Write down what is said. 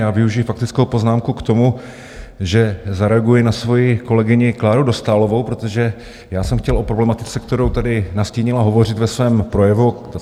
Já využiji faktickou poznámku k tomu, že zareaguji na svoji kolegyni Kláru Dostálovou, protože já jsem chtěl o problematice, kterou tady nastínila, hovořit ve svém projevu.